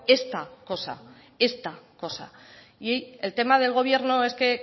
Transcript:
esta cosa esta cosa y el tema del gobierno es que